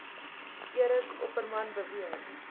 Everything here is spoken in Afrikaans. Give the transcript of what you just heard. eric opperman beweer